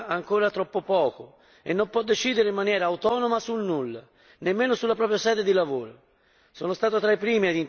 Questo Parlamento poi conta ancora troppo poco e non può decidere in maniera autonoma su nulla, nemmeno sulla propria sede di lavoro.